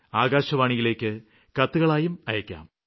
ആകാശവാണിയിലേക്ക് കത്തുകളായി അയയ്ക്കാം